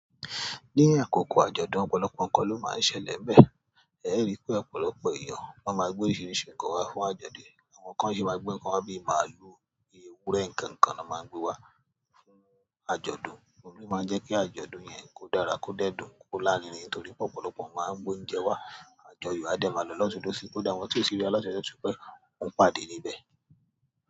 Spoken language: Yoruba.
Ni akoko, àjọ̀dún, ọ̀pọ̀lọpọ̀ nkan lo ma n ṣẹlẹ̀ nbe, ee ri pe ọ̀pọ̀lọpọ̀ eeyan lo ma n gbe oríṣiríṣi nkan wa fún àjọ̀dún. Àwọn kan ṣe máa gbé ǹkan wá bíi màálù, bíi ewúrẹ́, ǹkan ǹkan ni wọ́n máa ń gbé wá fún àjọ̀dún, òun ló máa ń jẹ́ kí àjọ̀dún yẹn kó dára, kó dẹ́dùn, kó lárinrin nítorí pé ọ̀pọ̀lọpọ̀ máa ń gbé oúnjẹ wá. Àjọyọ̀ á dẹ́ máa lọ lotunlòsi, kó da àwọn tí ò síbí lọ́dọ̀ ṣe ṣú pé òun ń pàdé níbẹ̀.